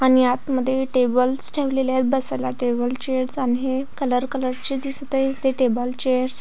आणि आत मध्ये टेबल्स ठेवलेले आहेत बसायला टेबल चे कलर कलर चे दिसत आहेत ते टेबल चेअर्स --